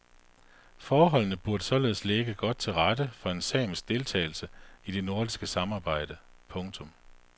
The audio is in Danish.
Forholdene burde således ligge godt til rette for en samisk deltagelse i det nordiske samarbejde. punktum